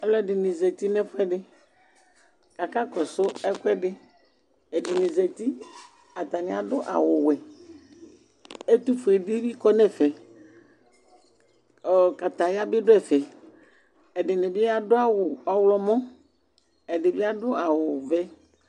Aluɛdini zati nu ɛfuɛdi akakɔsu ɛkuɛdi ɛdini zati atani adu awu wɛ ɛtufue dibi kɔ nu ɛfɛ kataya bi du ɛfɛ ɛdini adu awu ɔɣlɔmɔ ɛdibi adu awu wɛ